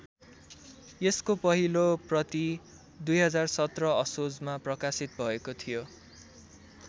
यसको पहिलो प्रति २०१७ असोजमा प्रकाशित भएको थियो।